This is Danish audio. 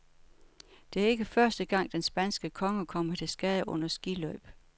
Det er ikke første gang, den spanske konge kommer til skade under skiløb.